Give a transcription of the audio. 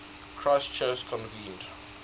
christian church convened